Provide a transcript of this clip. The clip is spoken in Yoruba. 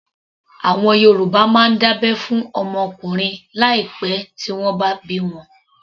Àwọn Yorùbá máa ń dábẹ́ fún ọmọ ọkùnrin láì pẹ tí wọ́n bá bí wọn